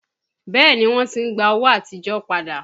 Bẹẹ ni, wọ́n ti ń gba owó àtijọ́ padà